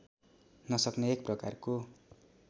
नसक्ने एक प्रकारको